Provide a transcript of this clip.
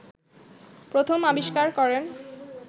প্রথম আবিষ্কার করেন